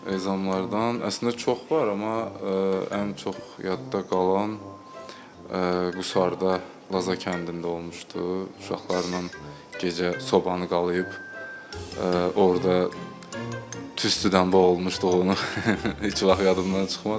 Ezamlardan əslində çox var, amma ən çox yadda qalan Quşarda, Laza kəndində olmuşdu uşaqlarla gecə sobanı qalıyıb orda tüstüdən boğulmuşduq onu heç vaxt yadımdan çıxmaz.